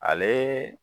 Ale